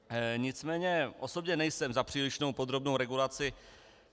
Nicméně osobně nejsem za přílišnou podrobnou regulaci.